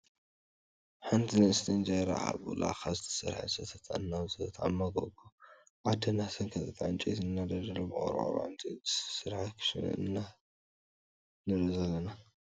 ሓንቲ ንእስቲ እንጀራ ካብ ላካ ዝተሰርሐ ሰተታ እናውፀት ኣብ መጎጎ ዓዲ እናሰንከተት ዕንጨይቲ እናነደደ፣ ብቆርቆሮን ዕንፀይቲን ዝተሰርሐ ክሽሸነ ኢና ንርኢ ዘለና።